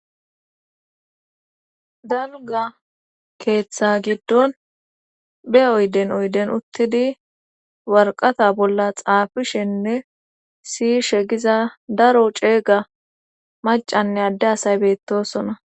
dalga keeththa giddon be oyden oyden uttidi warqata bolla xaafishenne siy shegiza daro ceega macanne adde asay beettosona